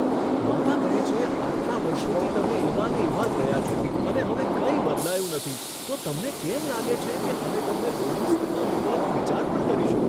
માતા કહે છે, આટલા વર્ષોથી તમે એવા ને એવા જ રહ્યા છો અને હવે કંઈ બદલાયું નથી, તો તમને કેમ લાગે છે કે અમે તમને બોર્ડિંગ સ્કૂલમાં મૂકવાનો વિચાર પણ કરીશું?